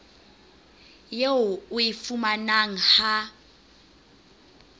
eo o e fumanang ha